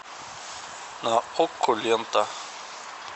на окко лента